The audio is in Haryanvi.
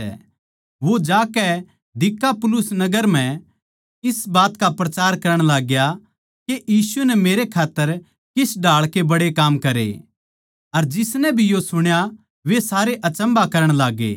वो जाकै दिकापुलिस नगर म्ह इस बात का प्रचार करण लाग्या के यीशु नै मेरै खात्तर किस ढाळ के बड्डे काम करे अर जिसनै भी यो सुण्या वे सारे अचम्भा करण लाग्गै